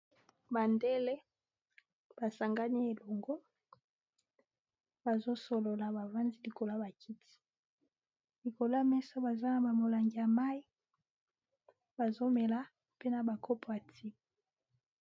Bandele ba sangani elongo ba zosolola bavandi likolo ya bakiti likolo amesa baza na bamolangi ya mayi bazomela mpe na ba kopo ya ti !